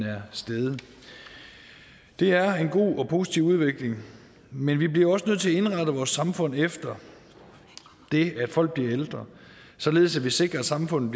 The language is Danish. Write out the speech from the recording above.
er steget det er en god og positiv udvikling men vi bliver også nødt til at indrette vores samfund efter det at folk bliver ældre således at vi sikrer at samfundet